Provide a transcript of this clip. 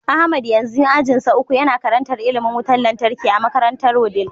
Ahmad yanzu ajinsa uku, Yana karantar ilimin wutar lantarki a makarantar wudil